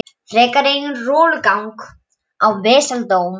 Frekar en eigin rolugang og vesaldóm.